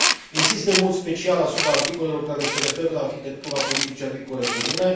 Insist în mod special asupra articolelor care se referă la arhitectura politicii agricole comune.